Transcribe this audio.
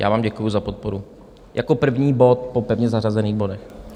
Já vám děkuji za podporu - jako první bod po pevně zařazených bodech.